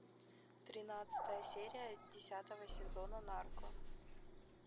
тринадцатая серия десятого сезона нарко